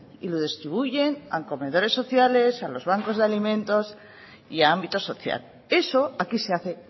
y lo distribuyen a los comedores sociales a los bancos de alimentos y a ámbito social eso aquí se hace